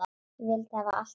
Ég vildi hafa allt rétt.